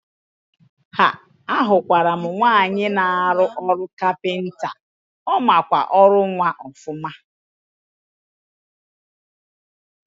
Haa! Ahụkwaram nwaanyị na arụ ọrụ kapịnta, ọmakwa ọrụ nwa ọfụma.